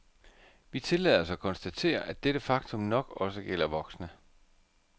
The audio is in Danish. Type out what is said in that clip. Vi tillader os at konstatere, at dette faktum nok også gælder voksne.